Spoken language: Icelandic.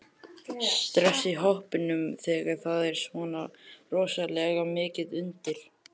Stress í hópnum þegar það er svona rosalega mikið undir?